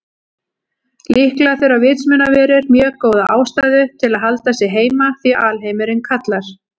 Líklega þurfa vitsmunaverur mjög góða ástæðu til að halda sig heima því alheimurinn kallar.